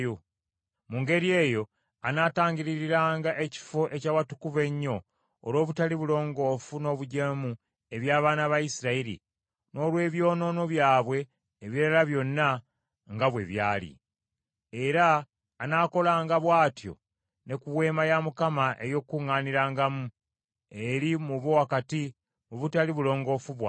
Mu ngeri eyo anaatangiririranga Ekifo eky’Awatukuvu Ennyo olw’obutali bulongoofu n’obujeemu eby’abaana ba Isirayiri, n’olw’ebyonoono byabwe ebirala byonna nga bwe byali. Era anaakolanga bw’atyo ne ku Weema ey’Okukuŋŋaanirangamu eri mu bo wakati mu butali bulongoofu bwabwe.